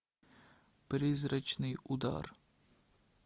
призрачный удар